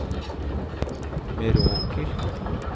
Meråker